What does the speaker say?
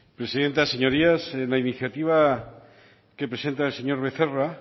presidenta señorías la iniciativa que presenta el señor becerra